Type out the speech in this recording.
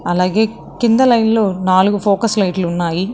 అలాగే కింద లైన్ లో నాలుగు ఫోకస్ లైట్లు ఉన్నాయి.